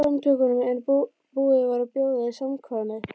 Samtökunum en búið var að bjóða í samkvæmið.